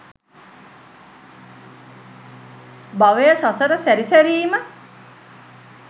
භවය, සසර සැරි සැරීම,